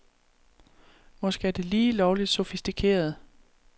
Måske er det lige lovligt sofistikeret.